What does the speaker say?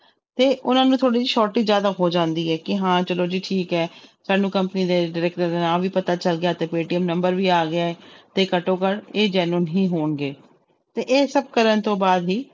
ਤੇ ਉਹਨਾਂ ਨੂੰ surety ਜ਼ਿਆਦਾ ਹੋ ਜਾਂਦੀ ਹੈ ਕਿ ਹਾਂ ਚਲੋ ਜੀ ਠੀਕ ਹੈ ਸਾਨੂੰ company ਦੇ director ਦਾ ਨਾਮ ਵੀ ਪਤਾ ਚੱਲ ਗਿਆ ਤੇ ਪੇਅਟੀਐਮ number ਵੀ ਗਿਆ ਹੈ ਤੇ ਘੱਟੋ ਘੱਟ ਇਹ genuine ਹੀ ਹੋਣਗੇ, ਤੇ ਇਹ ਸਭ ਕਰਨ ਤੋਂ ਬਾਅਦ ਹੀ l